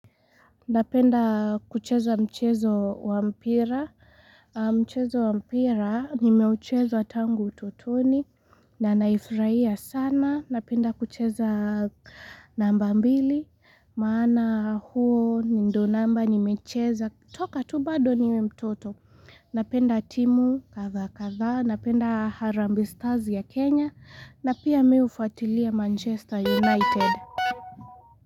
Napenda kucheza mchezo wampira Mchezo wampira nimeucheza tangu ututoni Nanaufurahia sana Napenda kucheza namba mbili Maana huo ndio namba nimecheza Toka tu bado niwe mtoto Napenda timu kadhaa kadhaa Napenda harambee stars ya Kenya na pia mimi hufuatilia Manchester United.